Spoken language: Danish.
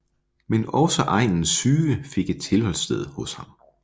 Men også egnens syge fik et tilholdssted hos ham